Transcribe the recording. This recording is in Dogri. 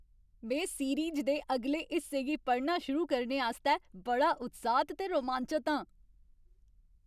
में सीरीज़ दे अगले हिस्से गी पढ़ना शुरू करने आस्तै बड़ा उत्साहत ते रोमांचत आं!